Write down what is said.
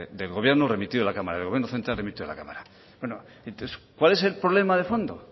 del gobierno remitido a la cámara del gobierno central remitido a la cámara bueno entonces cuál es el problema de fondo